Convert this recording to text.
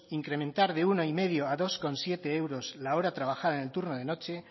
incrementar de uno coma cinco a dos coma siete euros la hora trabajada en el turno de noche